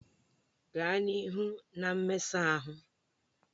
Gaa n'ihu na mmesa ahụ!